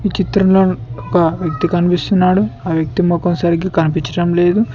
ఈ చిత్రంలో ఒక వ్యక్తి కనిపిస్తున్నాడు ఆ వ్యక్తి మొఖం సరిగ్గా కనిపించడం లేదు.